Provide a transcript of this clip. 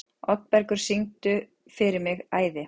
Oddbergur, syngdu fyrir mig „Æði“.